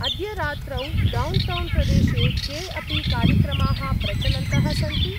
अद्य रात्रौ डौण्टौन्‌-प्रदेशे के अपि कार्यक्रमाः प्रचलन्तः सन्ति?